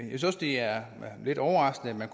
det er lidt overraskende